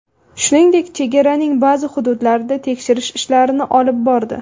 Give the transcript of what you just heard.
Shuningdek, chegaraning ba’zi hududlarida tekshirish ishlarini olib bordi.